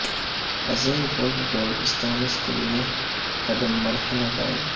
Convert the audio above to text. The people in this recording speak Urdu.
عظیم گولف گولڈ اسٹانس کے لئے قدم مرحلہ گائیڈ